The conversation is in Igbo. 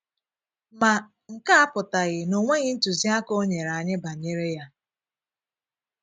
Ma, nke a apụtaghị na o nweghị ntụziaka o nyere anyị banyere ya.